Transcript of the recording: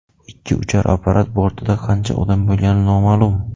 Ikki uchar apparat bortida qancha odam bo‘lgani noma’lum.